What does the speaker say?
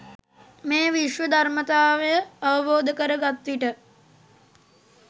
මේ විශ්ව ධර්මතාවය අවබෝධ කර ගත්විට